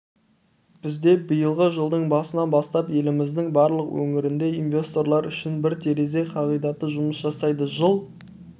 бізде биылғы жылдың басынан бастап еліміздің барлық өңірінде инвесторлар үшін бір терезе қағидаты жұмыс жасайды жыл